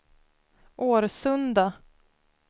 Årsunda